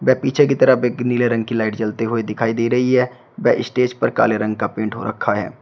वे पीछे की तरफ एक नीले रंग की लाइट जलते हुए दिखाई दे रही है व स्टेज पर काले रंग का पेंट हो रखा है।